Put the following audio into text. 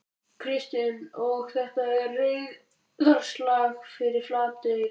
Kristinn: Og þetta er reiðarslag fyrir Flateyri?